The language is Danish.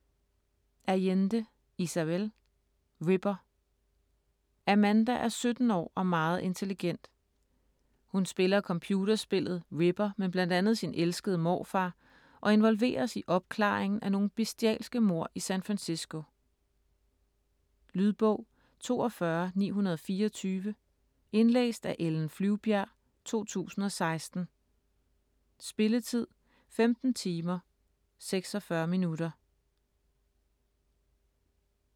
Allende, Isabel: Ripper Amanda er 17 år og meget intelligent. Hun spiller computerspillet Ripper med bl.a. sin elskede morfar og involveres i opklaringen af nogle bestialske mord i San Francisco. Lydbog 42924 Indlæst af Ellen Flyvbjerg, 2016. Spilletid: 15 timer, 46 minutter.